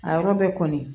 A yɔrɔ bɛ kɔni